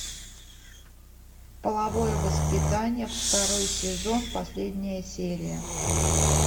половое воспитание второй сезон последняя серия